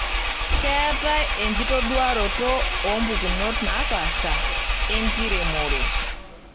Keetai enkitoduaroto oompukunot naapaasha enkiremore.